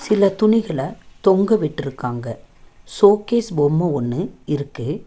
சில துணிகல தொங்க விட்ருக்காங்க ஷோகேஸ் பொம்ம ஒன்னு இருக்கு.